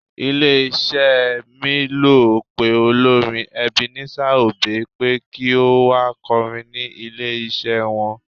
Ilé iṣẹ́ mílò pé olórin Ebenezer obey pé kí ó wá kọrin ní ilé iṣẹ́ wọn.